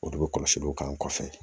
O de bɛ kɔlɔsi u kan kɔfɛ